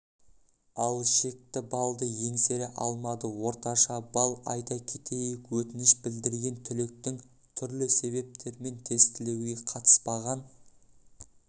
ал шекті балды еңсере алмады орташа балл айта кетейік өтініш білдірген түлектің түрлі себептермен тестілеуге қатыспаған